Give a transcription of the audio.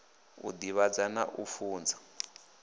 u divhadza na u funza